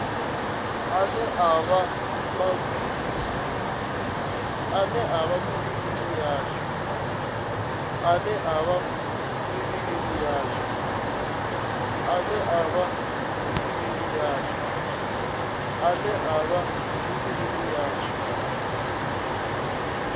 ane a vha mivhilini yashu